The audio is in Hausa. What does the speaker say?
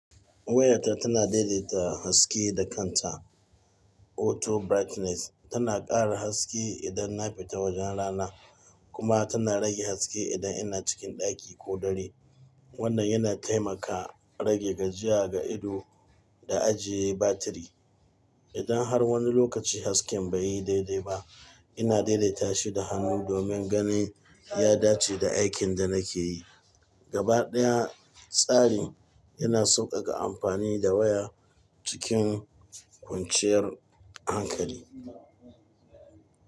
Wayarta tana daidaita haske da kanta. Auto brightness tana ƙara haske idan na fita wajen rana kuma tana rage haske idan ina cikin ɗaki ko dare. Wannan yana taimaka rage gajiya ga ido da ajiye batiri. Idan har wani lokaci hasken bai yi daidai ba, ina daidaita shi da hannu domin ganin ya dace da aikin da nake yi. Gaba ɗaya, tsarin yana sauƙaƙa amfani da waya cikin kwanciyar hankali.